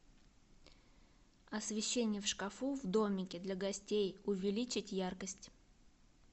освещение в шкафу в домике для гостей увеличить яркость